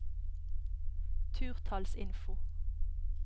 turtallsinfo